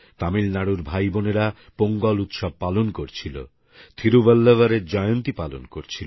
তামিলনাড়ুর ভাই বোনেরা পোঙ্গল উৎসব পালন করছিলথিরুবল্লভরএর জয়ন্তী পালন করছিল